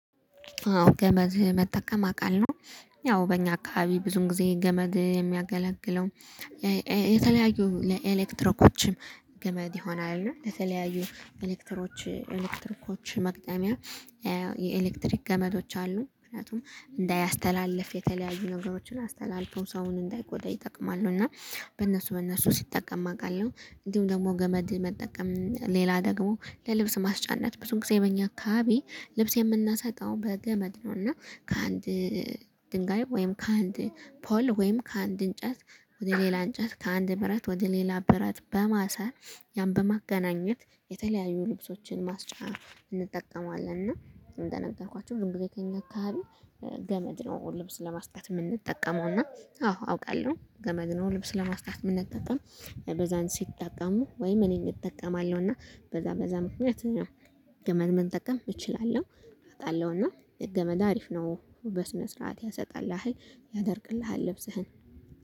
አዎ ገመድ መጠቀም አቃለሁ። ያው በእኛ አካባቢ ብዙ ጊዜ ገመድ የሚያገለግለው። የተለያዩ ለኤሌክትሮኮችም ገመድ ይሆናሉ ለተለያዩ ኤሌክትሮች ኤሌክትሮኮች መግጠሚያ። የኤሌክትሪክ ገመዶች አሉ ምክንያቱም እንዳያስተላልፍ የተለያዩ ነገሮችን አስተላልፈው ሰውን እንዳይጎዳ ይጠቅማሉ። እና በእነሱ በእነሱ ሲጠቀም አውቃለሁ እንዲሁም ደግሞ ገመድ መጠቀም ሌላ ደግሞ ለልብስ ማስጫነት ብዙን ጊዜ በእኛ አካባቢ ልብስ የምናሳጣው በገመድ ነው። እና ከአንድ ድንጋይ ወይም ከአንድ ፖል ወይም ከአንድ እንጨት ወደ ሌላ እንጨት ከአንድ ብረት ወደ ሌላ ብረት በማሰር ያን በማገናኘት የተለያዩ ልብሶችን ማስጫ እንጠቀመዋለን። እና እንደነገርኳችሁ ዝም ብሎ ከኛ አካባቢ። ገመድ ነው ልብስ ለማስጠት የምንጠቀመው እና አዎ አውቃለሁ ገመድ ነው ልብስ ለማስጣት የምንጠቀመው። በዛን ሲጠቀሙ ወይም እኔን እጠቀማለሁ እና በዛ በዛ ምክንያት ገመድ መጠቀም እችላለሁ። አቃለሁ እና ገመድ አሪፍ ነው በስነ ስርዓት ያሰጣልህ ያደርቅልሃል ልብስህን